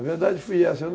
A verdade foi essa.